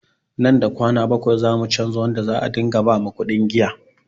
Nan da kwana bakwai zamu canza wanda za a ɗinga ba makuɗin giya